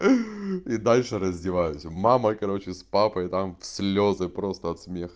и дальше раздеваются мама короче с папой там в слезы просто от смеха